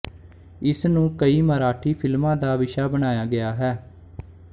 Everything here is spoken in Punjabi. ਇਸ ਨੂੰ ਕਈ ਮਰਾਠੀ ਫਿਲਮਾਂ ਦਾ ਵਿਸ਼ਾ ਬਣਾਇਆ ਗਿਆ ਹੈ